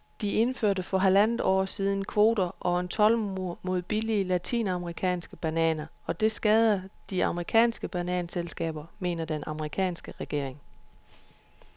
De indførte for halvandet år siden kvoter og en toldmur mod billige latinamerikanske bananer, og det skader de amerikanske bananselskaber, mener den amerikanske regering.